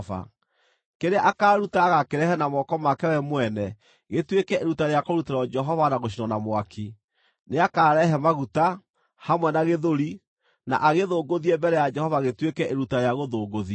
Kĩrĩa akaaruta agaakĩrehe na moko make we mwene gĩtuĩke iruta rĩa kũrutĩrwo Jehova na gũcinwo na mwaki; nĩakarehe maguta, hamwe na gĩthũri, na agĩthũngũthie mbere ya Jehova gĩtuĩke iruta rĩa gũthũngũthio.